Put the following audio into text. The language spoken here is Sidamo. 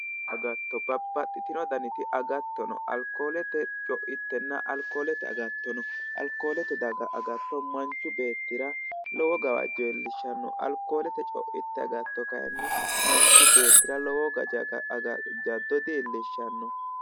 Agatto, babbaxxitino daniti agatto no. Alkoolete co'ittenna alkoolete agatto no. Alkoolete daggaa agatto manchu beettira lowo gawajjo iillishshanno. Alkoolete co'itte agatto kayinni manchu beettira lowo jaddo dillishshsanno.